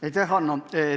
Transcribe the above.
Aitäh, Hanno!